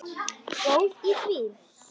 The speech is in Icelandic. Góð í því!